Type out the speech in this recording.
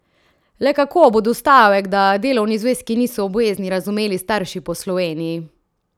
Le kako bodo stavek, da delovni zvezki niso obvezni, razumeli starši po Sloveniji?